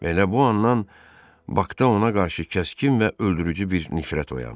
Elə bu andan Bakda ona qarşı kəskin və öldürücü bir nifrət oyandı.